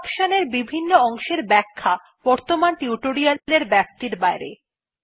এই অপশন এর বিভন্ন অংশের ব্যাখ্যা বর্তমান টিউটোরিয়ালের ব্যাপ্তির বাইরে